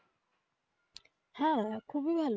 হ্যা খুবই ভালো